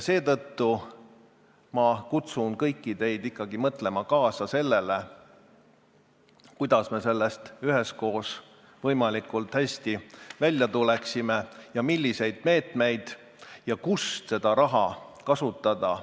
Seetõttu ma kutsun kõiki teid ikkagi kaasa mõtlema, kuidas me sellest üheskoos võimalikult hästi välja tuleksime, milliseid meetmeid tuleks võtta ja kus seda raha kasutada.